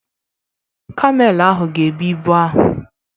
Kamel ahụ ga-ebu ibu ahụ.